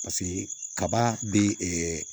Paseke kaba bɛ